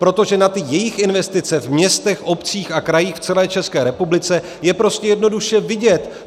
Protože na ty jejich investice v městech, obcích a krajích v celé České republice je prostě jednoduše vidět.